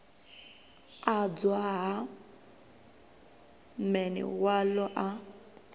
adzwa ha man walo a